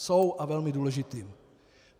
Jsou, a velmi důležitým.